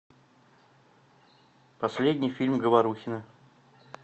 последний фильм говорухина